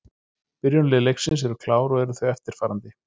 Byrjunarlið leiksins eru klár og eru þau eftirfarandi: